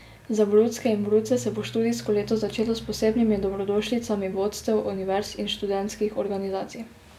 Za brucke in bruce se bo študijsko leto začelo s posebnimi dobrodošlicami vodstev univerz in študentskih organizacij.